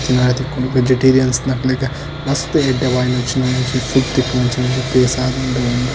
Vegetarians ನಕ್ಲೆಗ್ ಮಸ್ತ್ ಎಡ್ಡೆ ವಾಯಿನಂಚಿನ ಒಂಜಿ ಫುಡ್ ತಿಕ್ಕುನಂಚಿನ ಒಂಜಿ ಪ್ಲೇಸ್ ಆವುಂದುಂಡು ಉಂದು.